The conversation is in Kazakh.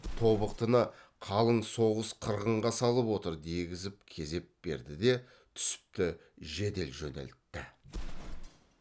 тобықтыны қалың соғыс қырғынға салып отыр дегізіп кезеп берді де түсіпті жедел жөнелтті